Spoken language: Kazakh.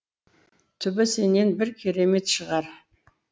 түбі сенен бір керемет шығар